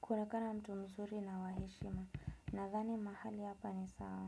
kuonekana mtu mzuri na waheshima. Nadhani mahali hapa ni sawa.